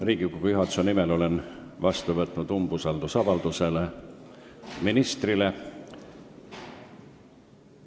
Riigikogu juhatuse nimel olen vastu võtnud umbusaldusavalduse ministrile.